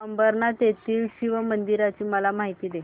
अंबरनाथ येथील शिवमंदिराची मला माहिती दे